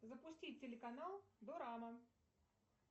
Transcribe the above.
запустить телеканал дорама